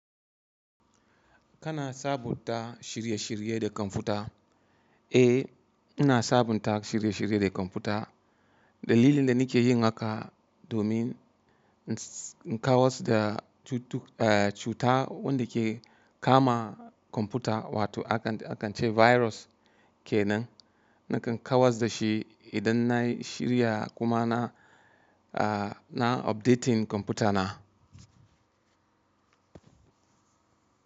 Kana sabunta shirye-shirye da kwamfuta? Eh, ina sabunta shirye-shirye da kwamfuta. Dalilin da nike yi haka domin in kawar da cuta wanda ke kama kwamfuta wato akan ce virus kenan. Nakan kawar da shi idan na shirya kuma na updating kwamfuta na.